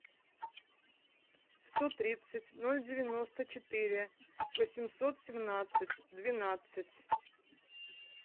сто тридцать ноль девяносто четыре восемьсот семнадцать двенадцать